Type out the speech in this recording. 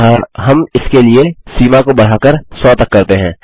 अतः हम इसके लिए सीमा को बढ़ाकर 100 तक करते हैं